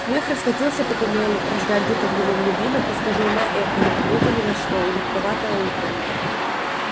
смех раскатился по туннелю рождая где-то в его глубинах искажённое эхо не похожее ни на что жутковатое уханье